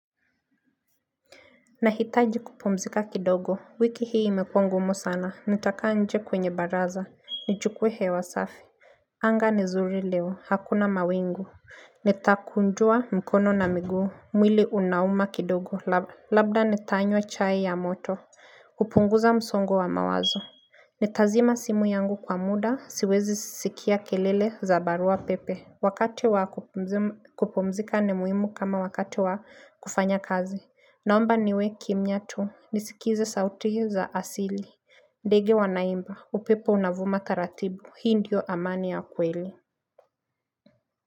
Nahitaji kupumzika kidogo, wiki hii imekua ngumu sana, nitakaa nje kwenye baraza, nijukwe hewa safi Anga ni zuri leo, hakuna mawingu Nitakunjua mkono na miguu, mwili unauma kidogo, labda nitanywa chai ya moto kupunguza msongo wa mawazo Nitazima simu yangu kwa muda, siwezi sikia kelele za barua pepe Wakati wa kupumzika ni muimu kama wakati wa kufanya kazi. Naomba niwe kimnyatu. Nisikize sauti za asili. Ndege wanaimba. Upepo unavuma taratibu. Hii ndio amani ya kweli.